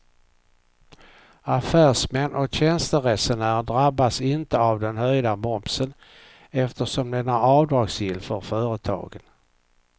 Affärsmän och tjänsteresenärer drabbas inte av den höjda momsen eftersom den är avdragsgill för företagen.